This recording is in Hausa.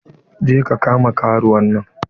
Je ka kama karuwan nan!